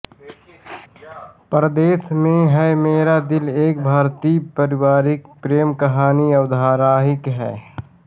परदेस में है मेरा दिल एक भारतीय पारिवारिक प्रेमकहानी धारावाहिक है